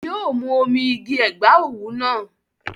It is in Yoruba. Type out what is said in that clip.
Yi o mú omi igi Ẹ̀gbá òwú náà.